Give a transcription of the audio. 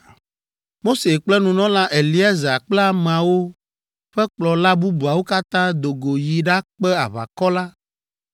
Mose kple nunɔla Eleazar kple ameawo ƒe kplɔla bubuawo katã do go yi ɖakpe aʋakɔ la,